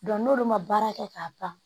n'olu ma baara kɛ k'a ban